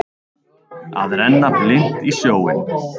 Að renna blint í sjóinn